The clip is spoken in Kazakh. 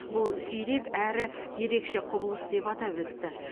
бұл сирек әрі ерекше құбылыс деп атап өтті